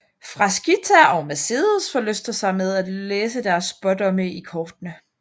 Frasquita og Mercedes forlyster sig med at læse deres spådomme i kortene